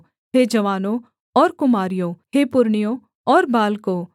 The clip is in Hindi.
हे जवानों और कुमारियों हे पुरनियों और बालकों